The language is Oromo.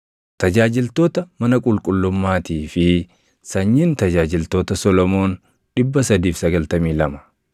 tajaajiltoota mana qulqullummaatii fi sanyiin tajaajiltoota Solomoon 392.